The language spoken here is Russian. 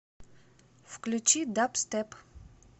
включи дабстеп